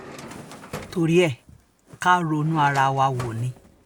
torí ẹ̀ kà ronú ara wa wò ni